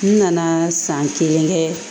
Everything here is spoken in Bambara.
N nana san kelen kɛ